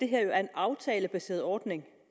her er en aftalebaseret ordning